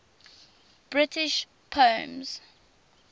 british poems